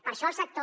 per això el sector